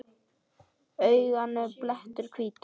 Í auganu blettur hvítur.